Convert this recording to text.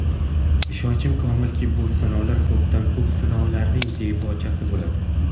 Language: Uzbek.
Ishonchim komilki, bu sinovlar ko‘pdan-ko‘p siylovlarning debochasi bo‘ladi.